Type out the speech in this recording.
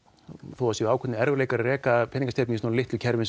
þó það sé erfitt að reka peningastefnu í svo litlu kerfi